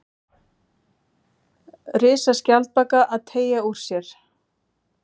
Risaskjaldbaka að teygja úr sér.